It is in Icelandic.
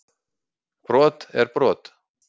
Brot er brot